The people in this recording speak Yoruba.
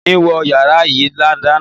Mi ò ní wọ yàrá yìí dáná.